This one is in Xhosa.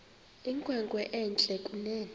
inkwenkwe entle kunene